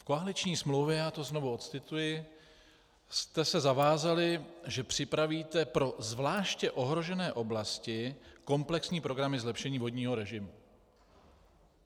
V koaliční smlouvě, já to znovu odcituji, jste se zavázali, že připravíte "pro zvláště ohrožené oblasti komplexní programy zlepšení vodního režimu".